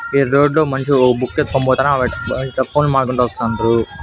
ఈడ రోడ్లో మంచిగా ఒక బుక్కు ఎత్తుకొని పోత్తాన్నా అయితే అ ఫోన్ మాట్లాడుకుంటూ వస్తండ్రు.